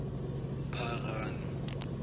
pharano